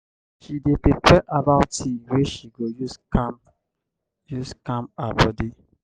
she dey prepare herbal tea wey she go use calm use calm her bodi.